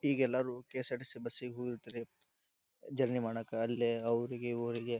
ಈಗ ಎಲ್ಲರು KSRTC bus ಗೆ ಹೋಗಿರ್ತರ. ಜರ್ನಿ ಮಾಡಕ ಅಲ್ಲಿ ಅವ್ರಿಗೆ ಹೋಗಿ --